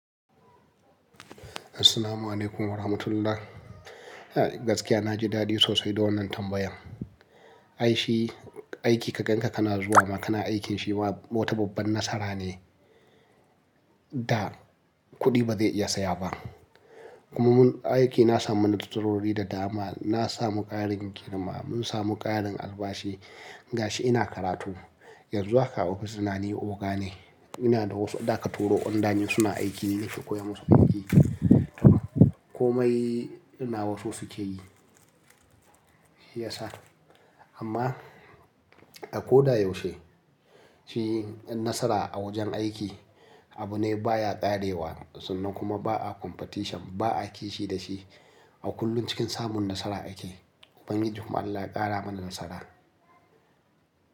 Assalamu'alaikum warahmatullah. Gaskiya na ji dadi sosai da wannan tambayan. Ai shi, aiki ka gan ka kana zuwa ma kana aikin shi ma wata babban nasara ne da kuɗi ba zai iya saya ba. Kuma mu aiki na samu nasarori da dama. Na samu ƙarin girma, mun samu ƙarin albashi. Gashi ina karatu, yanzu haka a ofis dina ni oga ne, ina da wasu da aka turo under ni suna aiki ni nake koya musu aiki. Komai nawa su suke yi. Shiyasa amma a ko da yaushe, shi nasara a wajen aiki abu ne baya ƙarewa sannan kuma ba a competition ba a kishi da shi. A kullum cikin samun nasara ake. Ubangiji kuma allah ya ƙara mana nasara.